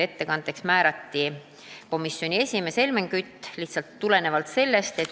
Ettekandjaks määrati komisjoni esimees Helmen Kütt.